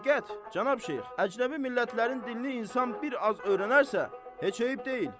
Həqiqət, Cənab Şeyx, əcnəbi millətlərin dilini insan bir az öyrənərsə, heç eyib deyil.